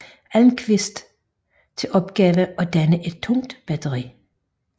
Almqvist til opgave at danne et tungt batteri